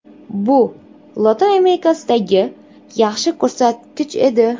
Bu Lotin Amerikasidagi yaxshi ko‘rsatkich edi.